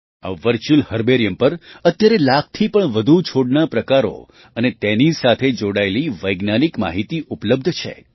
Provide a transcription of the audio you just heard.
આ virtual herbarium પર અત્યારે લાખથી વધુ છોડના પ્રકારો અને તેની સાથે જોડાયેલી વૈજ્ઞાનિક માહિતી ઉપલબ્ધ છે